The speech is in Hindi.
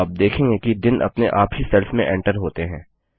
आप देखेंगे कि दिन अपने आप ही सेल्स में एंटर होते हैं